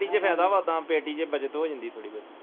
patty ਚ ਫਾਇਦਾ ਵਾ ਤਾ ਪੈਟੀ ਚ ਬੱਚਤ ਹੋ ਜਾਂਦੀ ਥੋੜੀ ਕਾ